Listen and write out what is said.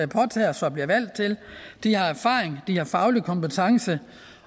påtager sig og bliver valgt til at de har erfaring de har faglig kompetence